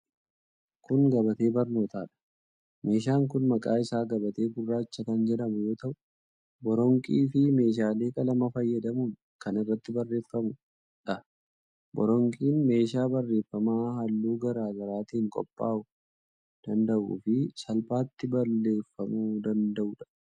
Kun, gabatee barnootaa dha. Meeshaan kun maqaan isaa gabatee gurraacha kan jedhamu yoo ta'u, boronqii fi meeshaalee qalamaa fayyadamuun kan irratti barreeffamuu dha. Boronqiin, meeshaa barreeffamaa halluu gara garaatin qophaa'uu danda'uu fi salphaatti balleeffamuu danda'uu dha.